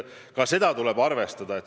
Ka seda tuleb arvestada.